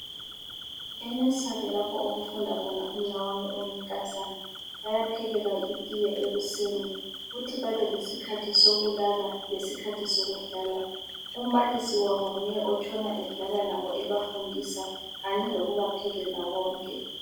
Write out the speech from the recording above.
E"nursery " lapho okufunda khona umnawami oyinkazana bayaphekelwa itiye ekuseni kuthi ngesikhathi sokulala lesikhathi sokudlala umbalisi wabo nguye otshona edlala labo ebafundisa kanye lokubaphekela konke.